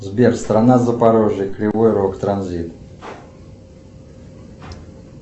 сбер страна запорожье кривой рог транзит